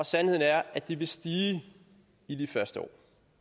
sandheden er at de vil stige i de første år